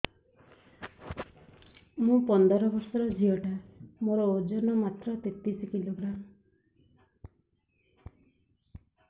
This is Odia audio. ମୁ ପନ୍ଦର ବର୍ଷ ର ଝିଅ ଟା ମୋର ଓଜନ ମାତ୍ର ତେତିଶ କିଲୋଗ୍ରାମ